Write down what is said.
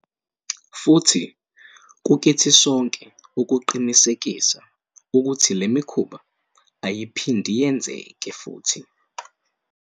Futhi kukithi sonke ukuqinisekisa ukuthi le mikhuba ayiphindi yenzeke futhi.